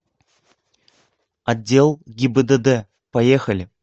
отдел гибдд поехали